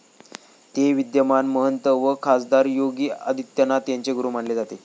ते विद्यमान महंत व खासदार योगी आदित्यनाथ यांचे गुरु मानले जात.